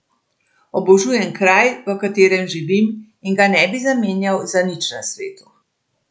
Obožujem kraj, v katerem živim in ga ne bi zamenjal za nič na svetu.